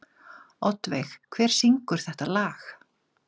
Oddveig, hver syngur þetta lag?